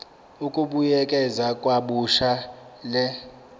ukubuyekeza kabusha le